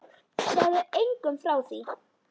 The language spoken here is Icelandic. Segðu engum frá því!